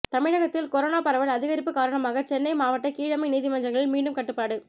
தமிழகத்தில் கொரோனா பரவல் அதிகரிப்பு காரணமாக சென்னை மாவட்ட கீழமை நீதிமன்றங்களில் மீண்டும் கட்டுப்பாடு